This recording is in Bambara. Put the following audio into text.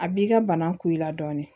A b'i ka bana ku i la dɔɔnin